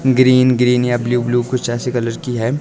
Green green या blue blue कुछ ऐसी कलर की है।